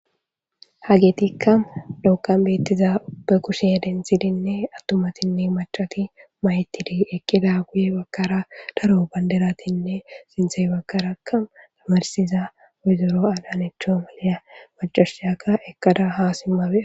Hageethikka dhoqqan beeththiza be kushe denththidenne aththumathinne maccathi mayethidi eqqidaappe ya baggaara daro bandderathinne sinththe baggaarakka mayssiza woyzero adanecho giya maccasiyakka eqqada haa simma be7awus.